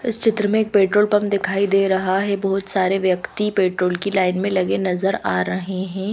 इस चित्र में एक पेट्रोल पंप दिखाई दे रहा है बहुत सारे व्यक्ति पेट्रोल की लाइन में लगे नजर आ रहे ह--.